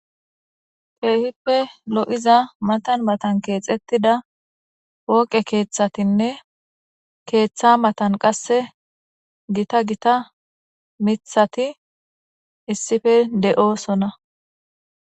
teehippe lo7iza matan matan keexettida woqe keeththatinne keeththa matan qasse gita gita mithati issife de7oosona